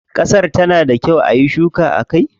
Kasar ta na da kyau ayi shuka a kai?